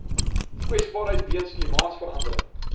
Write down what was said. kwesbaarheid weens klimaatsverandering